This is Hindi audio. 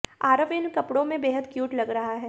आरव इन कपड़ों में बेहद क्यूट लग रहा है